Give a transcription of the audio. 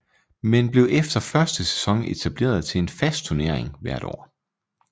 Men blev efter første sæson etableret til en fast tunering hvert år